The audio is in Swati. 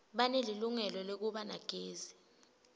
banelilungelo lekuba nagezi